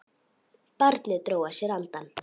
Barnið dró að sér andann.